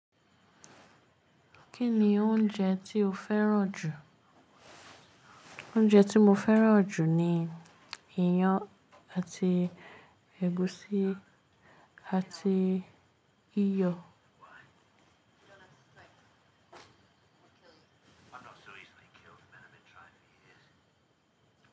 Kí ni oúnjẹ tí o fẹ́ràn jù? Oúnjẹ tí mo fẹ́ràn jù ni iyán àti ẹ̀gúsí àti iyọ̀.